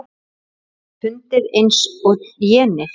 Verður pundið eins og jenið?